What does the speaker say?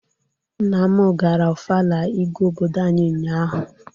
Nna m gara Ọfala Igwe obodo anyị ụnyaahụ.